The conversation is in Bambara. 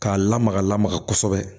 K'a lamaga lamaga kosɛbɛ